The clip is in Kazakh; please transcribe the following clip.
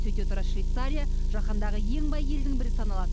сөйте тұра швейцария жаһандағы ең бай елдің бірі саналады